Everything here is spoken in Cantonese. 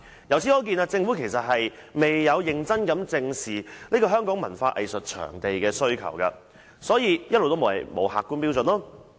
由此可見，政府未有認真正視香港文化藝術場地的需求，所以一直沒有客觀標準。